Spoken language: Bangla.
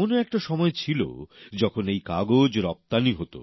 এমনও একটা সময় ছিল যখন এই কাগজ রফতানি হতো